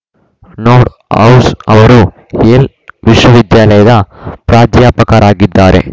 Nordhaus ಅವರು Yale ವಿಶ್ವವಿದ್ಯಾಲಯದ ಪ್ರಾಧ್ಯಾಪಕರಾಗಿದ್ದಾರೆ